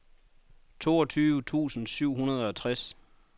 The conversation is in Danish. toogtyve tusind syv hundrede og tres